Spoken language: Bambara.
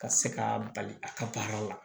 Ka se ka bali a ka baara la